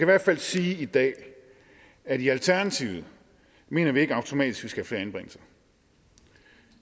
hvert fald sige i dag at i alternativet mener vi ikke automatisk vi skal have flere anbringelser